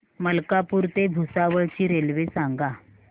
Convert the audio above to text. मलकापूर ते भुसावळ ची रेल्वे सांगा